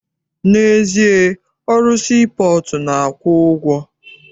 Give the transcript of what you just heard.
N'ezie, ọrụ sii pọọtụ na-akwụ ụgwọ.